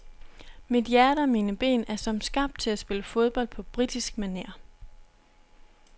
Mit hjerte og mine ben er som skabt til at spille fodbold på britisk maner.